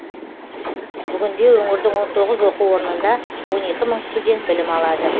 бүгінде өңірдің он тоғыз оқу орнында он екі мың студент білім алады